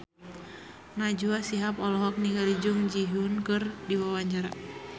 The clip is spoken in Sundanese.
Najwa Shihab olohok ningali Jung Ji Hoon keur diwawancara